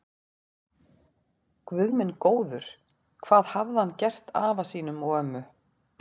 Guð minn góður, hvað hafði hann gert afa sínum og ömmu.